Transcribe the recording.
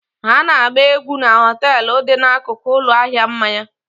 Ha na-agba egwu na họtel dị n'akụkụ ụlọ ahịa mmanya